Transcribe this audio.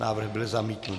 Návrh byl zamítnut.